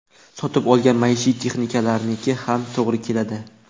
Sotib olgan maishiy texnikaniki ham to‘g‘ri keladi.